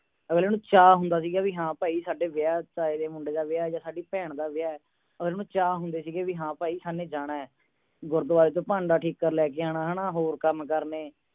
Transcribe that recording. ਅਗਲੇ ਨੂ ਚਾਹੁੰਦਾ ਸੀ ਹਾਂ ਭਾਈ ਸਾਡੇ ਵਿਆਹ ਹੈ ਸਾਡੇ ਤਾਏ ਦੇ ਮੁੰਡੇ ਦਾ ਵਿਆਹ ਹੈ ਜਾਂ ਸਾਡੀ ਭੈਣ ਦਾ ਵਿਆਹ ਹੈ ਹੋਰ ਉਹਨੂੰ ਚਾਹੁੰਦੇ ਸੀ ਹੈ ਹਾਂ ਭਾਈ ਅਸਾਂ ਨੇ ਜਾਣਾ ਹੈ ਗੁਰਦਵਾਰੇ ਤੋਂ ਭਾਂਡਾ ਠੀਕਰ ਲੈ ਕੇ ਆਉਣਾ ਹੈ ਨਾ ਹੋਰ ਕੰਮ ਕਰਨੇ